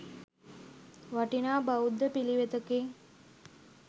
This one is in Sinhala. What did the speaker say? වටිනා බෞද්ධ පිළිවෙතකි.